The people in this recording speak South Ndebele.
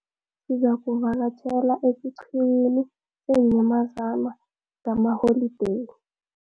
Sizakuvakatjhela esiqhiwini seenyamazana ngalamaholideyi.